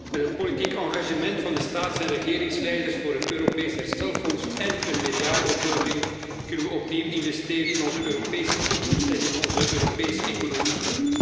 Met het politiek engagement van de staatshoofden en regeringsleiders voor een Europees herstelfonds én een meerjarenbegroting kunnen we opnieuw investeren in onze Europese toekomst en in onze Europese economie.